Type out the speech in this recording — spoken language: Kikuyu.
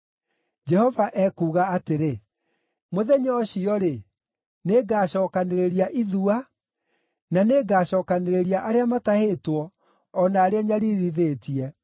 Jehova ekuuga atĩrĩ: “Mũthenya ũcio-rĩ, nĩngacookanĩrĩria ithua; na nĩngacookanĩrĩria arĩa matahĩtwo, o na arĩa nyariirithĩtie.